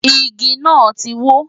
Igi náà ti wó.